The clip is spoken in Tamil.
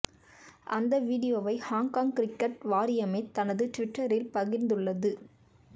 அந்த வீடியோவை ஹாங்காங் கிரிக்கெட் வாரியமே தனது ட்விட்டரில் பகிர்ந்துள்ளது